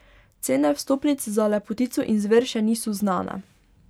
Cene vstopnic za Lepotico in zver še niso znane.